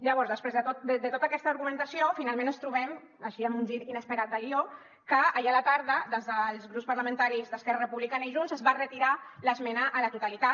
llavors després de tota aquesta argumentació finalment ens trobem així amb un gir inesperat de guió que ahir a la tarda des dels grups parlamentaris d’esquerra republicana i junts es va retirar l’esmena a la totalitat